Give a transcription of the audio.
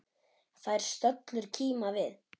Þær stöllur kíma við.